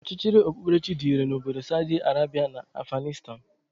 Ọchịchịrị ọkpụkperechi dị irè n'obodo Saudi Arabia na Afghanistan.